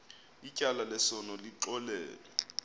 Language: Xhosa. ityala lesono lixolelwe